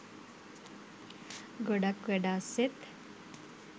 ගොඩක් වැඩ අස්සෙත්